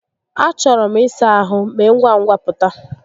A chọrọ m ịsa ahụ, mee ngwa ngwa pụta.